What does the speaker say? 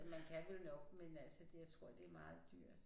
Man kan vel nok men altså det jeg tror det er meget dyrt